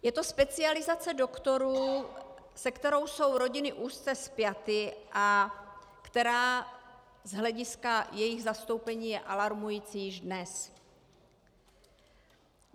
Je to specializace doktorů, se kterou jsou rodiny úzce spjaty a která z hlediska jejich zastoupení je alarmující již dnes.